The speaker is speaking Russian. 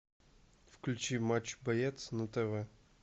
включи матч боец на тв